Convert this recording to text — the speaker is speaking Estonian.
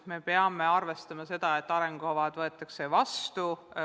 Me peame arvestama, et arengukava võetakse vastu.